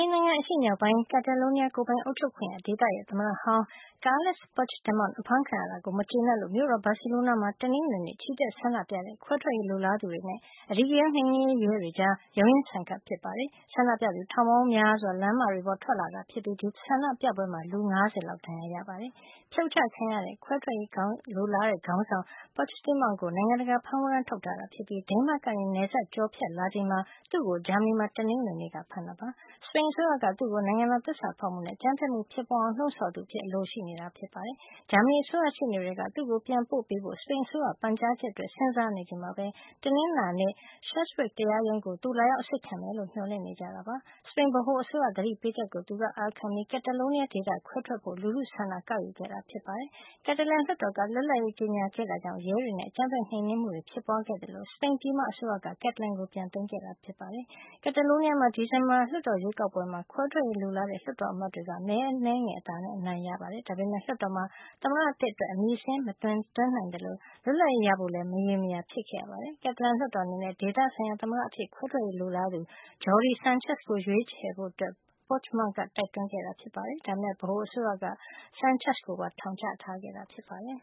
န်နိုင်ငံ အရှေ့မြောက်ပိုင်း Catalonia ကိုယ်ပိုင်အုပ်ချုပ်ခွင့်ရဒေသရဲ့ သမ္မတဟောင်း Carles Puigdemont အဖမ်းခံရတာကို မကျေနပ်လို့ မြို့တော် Barcelona မှာ တနင်္ဂနွေနေ့ချီတက်ဆန္ဒပြကြတဲ့ ခွဲထွက်ရေးလိုလားသူတွေနဲ့ အဓိကရုန်းနှိမ်နင်းရေးရဲတွေကြား ရုန်းရင်းဆန်ခတ် ဖြစ်ခဲ့ပါတယ်။ ဆန္ဒပြသူ ထောင်ပေါင်းများစွာ လမ်းမတွေပေါ်ထွက်လာခဲ့ကြတာဖြစ်ပြီး ဒီဆန္ဒပြပွဲမှာ လူ ၅၀ လောက် ဒဏ်ရာရခဲ့တာပါ။ ဖြုတ်ချခံခဲ့ရတဲ့ ခွဲထွက်ရေးလိုလားတဲ့ ခေါင်းဆောင် Puigdemont ကို နိုင်ငံတကာဖမ်းဝရမ်းထုတ်ထားတာ ဖြစ်ပြီး ဒိန်းမတ်ကနေ နယ်စပ်ကျော်ဖြတ်လာချိန် သူ့ကို ဂျာမဏီမှာ တနင်္ဂနွေနေ့က ဖမ်းသွားတာဖြစ်ပါတယ်။ စပိန်အစိုးရက သူ့ကို နိုင်ငံတော်သစ္စာဖောက်မှုနဲ့ အကြမ်းဖက်မှု ဖြစ်ပွားအောင်လှုံ့ဆော်သူအဖြစ် အလိုရှိနေတာပါ။ ဂျာမဏီအစိုးရ ရှေ့နေတွေက သူ့ကို ပြန်ပို့ပေးဖို့ စပိန်အစိုးရရဲ့ ပန်ကြားချက်အတွက် စဉ်းစားနေချိန်မှာပဲ တနင်္လာနေ့ Schleswig တရားရုံးကို သူလာရောက်အစစ်ခံမယ်လို့ မျှော်လင့်နေကြတာ ဖြစ်ပါတယ်။ စပိန်ဗဟိုအစိုးရက သတိပေးချက်ကို သူကအာခံခဲ့ပြီး Catalonia ဒေသခွဲထွက်ဖို့ လူထုဆန္ဒကောက်ယူခဲ့တာ ဖြစ်ပါတယ်။ Catalan လွှတ်တော်က လွတ်လပ်ရေးကြေညာခဲ့တာကြောင့် ရဲတွေရဲ့ အကြမ်းဖက်နှိမ်နင်းမှုတွေ ဖြစ်ပွားခဲ့သလို စပိန်ပြည်မ အစိုးရက Catalan ကိုပြန်သိမ်းခဲ့တာပါ။ Catalonia မှာ ဒီဇင်ဘာလလွှတ်တော်ရွေးကောက်ပွဲမှာ ခွဲထွက်ရေးလိုလားတဲ့ လွှတ်တော်အမတ်တွေက မဲအနည်းငယ်အသာနဲ့ အနိုင်ရခဲ့တာပါ။ ဒါပေမယ့် လွှတ်တော်မှာ သမ္မတသစ်အတွက် အမည်စာရင်းမတင်သွင်းနိုင်သလို လွတ်လပ်ရေးရဖို့လည်း မရေမရာ ဖြစ်ခဲ့ရပါတယ်။ Catalan လွှတ်တော်အနေနဲ့ ဒေသဆိုင်ရာ သမ္မတသစ်အဖြစ် ခွဲထွက်ရေးလိုလားသူ Jordi Sanchez ကို ရွေးချယ်ကြဖို့ Puigdemont က တိုက်တွန်းခဲ့တာပါ။ ဒါပေမယ့် ဗဟိုအစိုးရက Sanchez ကိုပါ ထောင်ချထားခဲ့တာဖြစ်ပါတယ်